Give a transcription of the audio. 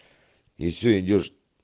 и все идёшь